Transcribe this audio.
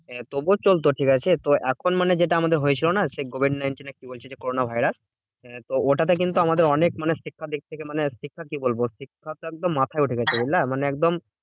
তবুও চলতো ঠিকাছে? তো এখন মানে যেটা আমাদের হয়ে ছিল না? সেই covid nineteen না কি বলছে? যে corona virus? তো ওটা তে কিন্তু আমাদের অনেক মানে শিক্ষার দিক থেকে মানে শিক্ষা কি বলবো? মানে শিক্ষা তো একদম মাথায় উঠে গেছে বুঝলা? মানে একদম